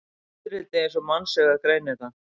Fiðrildi eins og mannsaugað greinir það.